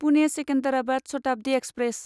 Pune Secunderabad Shatabdi express